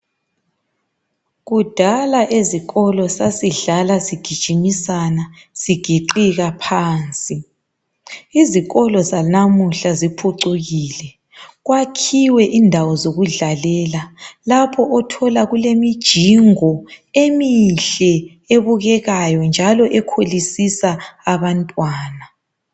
Kudala ezikolo sasidlala sijigimisana sigiqika phansi. Izikolo zanamuhla ziphucukile kwakhiwe indawo zokudlalela lapho othola kulemijingo eminhle ebukekayo njalo ekhulisisa abantwana